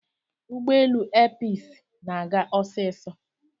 ụgbọelu Episi na-aga osiso